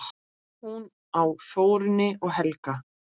Hún á Þórunni og Helga.